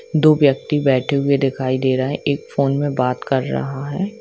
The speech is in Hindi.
दो व्यक्ति बैठे हुए दिखाई दे रहे है एक फोन मे बात कर रहा है।